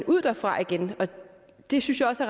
ud derfra igen det synes jeg også